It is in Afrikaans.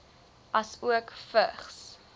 asook vigs